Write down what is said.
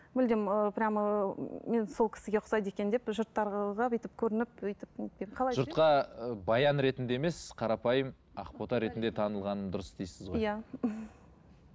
мүлдем ыыы прямо ыыы мен сол кісіге ұқсайды екенмін деп жұрттарға бүйтіп көрініп өйтіп не етпей қалай жүрем жұртқа баян ретінде емес қарапайым ақбота ретінде танылғаным дұрыс дейсіз ғой иә